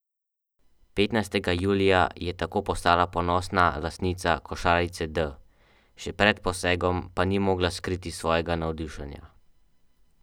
Petnajstega julija je tako postala ponosna lastnica košarice D, še pred posegom pa ni mogla skriti svojega navdušenja.